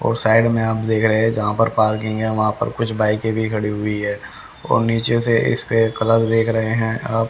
और साइड में आप देख रहे है जहां पर पार्किंग है वहां पर कुछ बाइक के भी खड़ी हुई है और नीचे से इसके कलर देख रहे हैं आप--